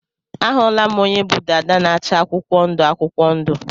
A hụla m onye bụ dàdá na-acha akwụkwọ ndụ akwụkwọ ndụ.